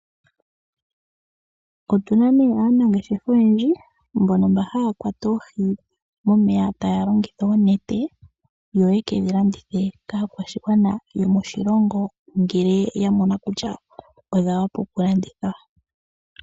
Otuna nee aanangeshefa oyendji, mbono mba haya kwata oohi momeya taya longitha oonete. Yo yekedhilandithe kaakwashigwana yomoshilongo ngele ya mono kutya odha wapa okulandithwa.